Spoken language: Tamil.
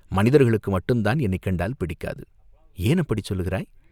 மனிதர்களுக்கு மட்டுந்தான் என்னைக் கண்டால் பிடிக்காது." "ஏன் அப்படிச் சொல்கிறாய்?